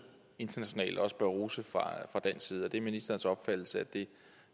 internationalt og også bør rose fra dansk side er det ministerens opfattelse at det